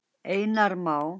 Einar Má.